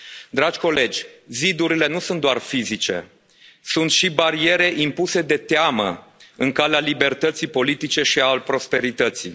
Dragi colegi, zidurile nu sunt doar fizice, sunt și bariere impuse de teamă în calea libertății politice și a prosperității.